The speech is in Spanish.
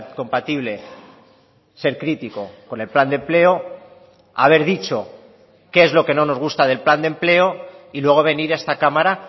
compatible ser crítico con el plan de empleo haber dicho qué es lo que no nos gusta del plan de empleo y luego venir a esta cámara